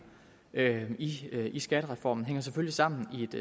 i i skattereformen hænger selvfølgelig sammen i et